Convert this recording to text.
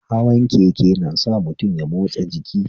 Hawan keke nasa mutum ya motsa jiki